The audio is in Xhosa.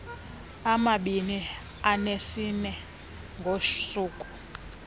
amabini anesine ngosuku